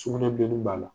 Sugunɛbilennin b'a la